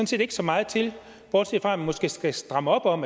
set ikke så meget til bortset fra at der måske skal strammes op om